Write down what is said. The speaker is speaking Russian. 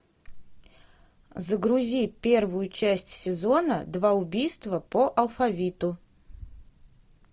загрузи первую часть сезона два убийства по алфавиту